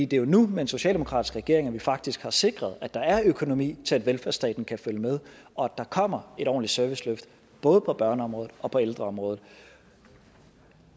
det er jo nu med en socialdemokratisk regering at vi faktisk har sikret at der er økonomi til at velfærdsstaten kan følge med og at der kommer et ordentligt serviceløft både på børneområdet og på ældreområdet